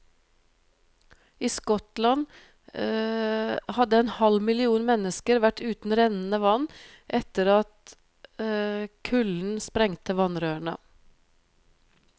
I Skottland hadde en halv million mennesker vært uten rennende vann etter at kulden sprengte vannrørene.